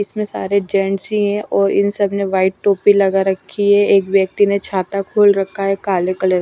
इसमें सारे जेंट्स ही हैं और इन सब ने व्हाईट टोपी लगा रखी है एक व्यक्ति ने छाता खोल रखा है काले कलर --